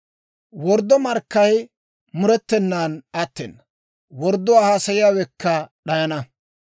Worddo markkay murettenan attena; wordduwaa haasayiyaawekka d'ayana.